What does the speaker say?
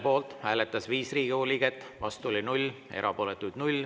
Poolt hääletas 5 Riigikogu liiget, vastu oli 0, erapooletuid 0.